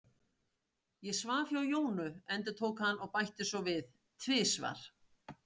Ég svaf hjá Jónu, endurtók hann og bætti svo við: Tvisvar.